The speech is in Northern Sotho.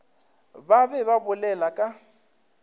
ba be ba bolela ka